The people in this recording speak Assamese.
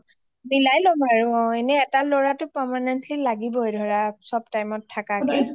অ মিলাই লম আৰু অ এটা লৰাটো লাগিবয়ে permanently ধৰা চব time ত থাকাকে